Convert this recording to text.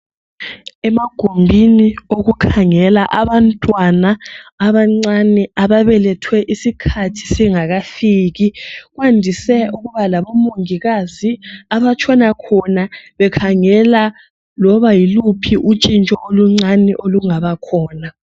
Emagumbini okukhangela abantwana abancane ababelethwe isikhathi singakafiki kwandise ukuba labomongikazi abatshona khona bekhangela loba yiluphi utshintsho oluncani olungaba khona.